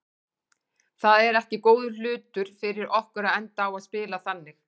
Það er ekki góður hlutur fyrir okkur að enda á að spila þannig.